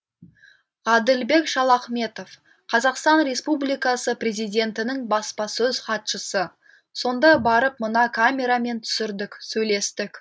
ғаділбек шалахметов қазақстан республикасы президентінің баспасөз хатшысы сонда барып мына камерамен түсірдік сөйлестік